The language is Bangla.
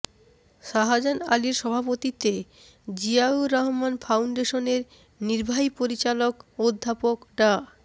শাহজাহান আলীর সভাপতিত্বে জিয়াউর রহমান ফাউন্ডেশনের নির্বাহী পরিচালক অধ্যাপক ডা